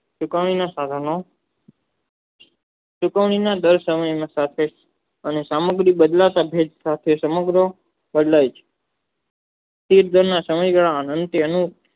સુકવણી ને કારણે સુકવણી દર અનિયન પાસે અને સામગ્રી બદલાતા સાથે સમગ્ર બદલાય છે